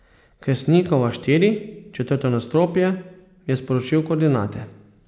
Kersnikova štiri, četrto nadstropje, je sporočil koordinate.